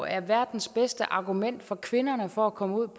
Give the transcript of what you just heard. er verdens bedste argument for kvinderne for at komme ud